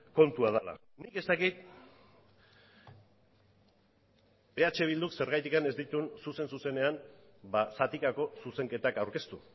kontua dela nik ez dakit eh bilduk zergatik ez dituen zuzen zuzenean zatikako zuzenketak aurkeztu